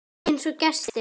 Einsog gestir.